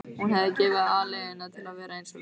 Hún hefði gefið aleiguna til að vera eins og Rósa.